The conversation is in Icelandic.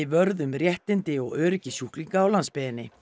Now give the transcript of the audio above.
vörð um réttindi og öryggi sjúklinga á landsbyggðinni